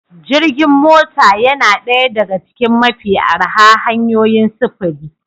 Jirgin mota yana ɗaya daga cikin mafi arha hanyoyin sufuri